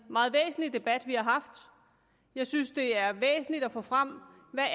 meget væsentlig debat vi har haft jeg synes det er væsentligt at få frem hvad